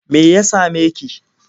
Me ya same ki?